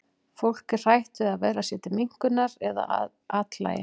Fólk er hrætt við að verða sér til minnkunar eða að athlægi.